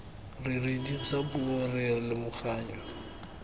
re dirisa puo re lomaganya